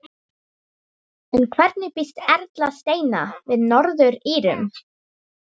En hvernig býst Erla Steina við Norður-Írum?